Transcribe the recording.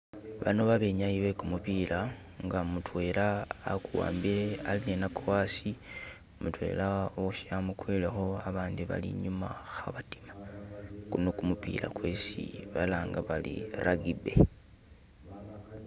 Bano babenyayi begumupila nga mudwela aguwambile alininago hasi mudwela woshe amugwilekho abandi bali inyuma khabadima guno gumupila gwesi balanga bari rugby.